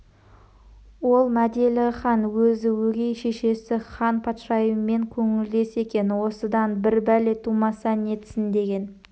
ол мәделіхан өзі өгей шешесі хан патшайыммен көңілдес екен осыдан бір бәле тумаса нетсін деген